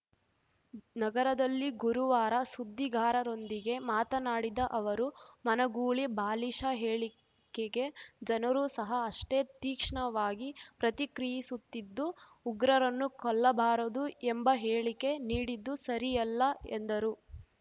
ನಗರದಲ್ಲಿ ಗುರುವಾರ ಸುದ್ದಿಗಾರರೊಂದಿಗೆ ಮಾತನಾಡಿದ ಅವರು ಮನಗೂಳಿ ಬಾಲಿಷ ಹೇಳಿಕೆಗೆ ಜನರೂ ಸಹ ಅಷ್ಟೇ ತೀಕ್ಷ್ಣವಾಗಿ ಪ್ರತಿಕ್ರಿಯಿಸುತ್ತಿದ್ದು ಉಗ್ರರನ್ನು ಕೊಲ್ಲಬಾರದು ಎಂಬ ಹೇಳಿಕೆ ನೀಡಿದ್ದು ಸರಿಯಲ್ಲ ಎಂದರು